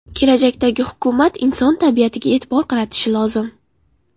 Kelajakdagi hukumat inson tabiatiga e’tibor qaratishi lozim.